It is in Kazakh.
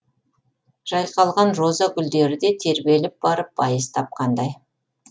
жайқалған роза гүлдері де тербеліп барып байыз тапқандай